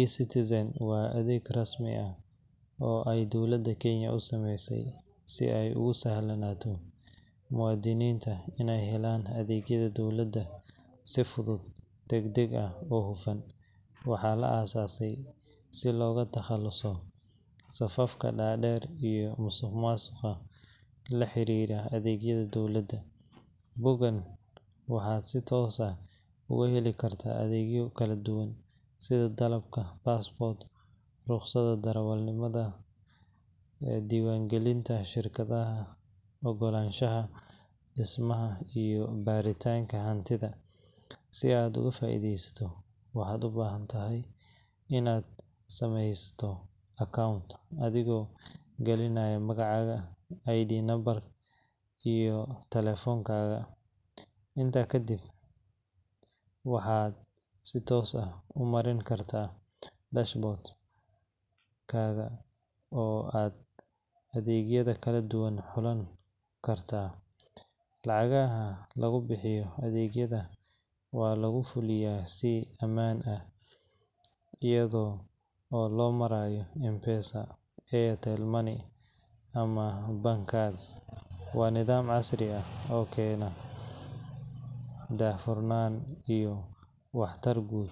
eCitizen waa mareeg rasmi ah oo ay dawladda Kenya u sameysay si ay ugu sahlanaato muwaadiniinta inay helaan adeegyada dowladda si fudud, degdeg ah, oo hufan. Waxaa la aasaasay si looga takhaluso safafka dhaadheer iyo musuqmaasuqa la xiriira adeegyada dowladda. Boggan waxaad si toos ah uga heli kartaa adeegyo kala duwan sida dalabka passport, rukhsadda darawalnimada, diiwaangelinta shirkadaha, ogolaanshaha dhismaha, iyo baaritaanka hantida. Si aad uga faa’iidaysato, waxaad u baahan tahay inaad sameysato account adigoo gelinaya magacaaga, ID number, iyo taleefankaaga. Intaa kadib waxaad si toos ah u marin kartaa dashboard kaaga oo aad adeegyada kala xulan kartaa. Lacagaha lagu bixiyo adeegyada waxaa lagu fuliyaa si aamin ah iyada oo loo marayo M-Pesa, Airtel Money, ama bank card. Waa nidaam casri ah oo keena daahfurnaan iyo waxtar guud